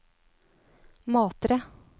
Matre